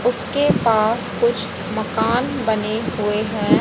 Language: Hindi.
उसके पास कुछ मकान बने हुए हैं।